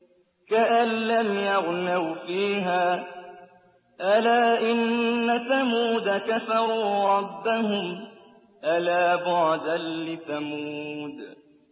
كَأَن لَّمْ يَغْنَوْا فِيهَا ۗ أَلَا إِنَّ ثَمُودَ كَفَرُوا رَبَّهُمْ ۗ أَلَا بُعْدًا لِّثَمُودَ